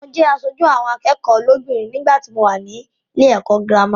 Mo jẹ aṣojú àwọn akẹ́kọ̀ọ́ lóbìnrin nígbàtí mo wà nílé ẹ̀kọ́ gírámà.